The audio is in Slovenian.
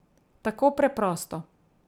Tako preprosto.